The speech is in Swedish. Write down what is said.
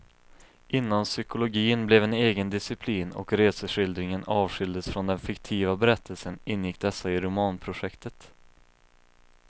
Innan psykologin blev en egen disciplin och reseskildringen avskildes från den fiktiva berättelsen ingick dessa i romanprojektet.